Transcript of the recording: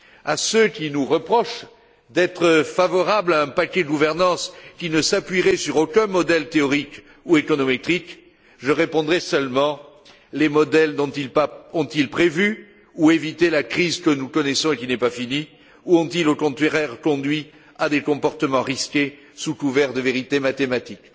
À ceux qui nous reprochent d'être favorables à un paquet gouvernance qui ne s'appuierait sur aucun modèle théorique ou économétrique, je répondrai seulement ceci les modèles dont ils parlent ont ils prévu ou évité la crise que nous connaissons et qui n'est pas finie, ou ont ils, au contraire, conduit à des comportements risqués sous couvert de vérité mathématique?